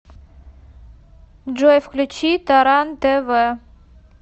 джой включи таран тэ вэ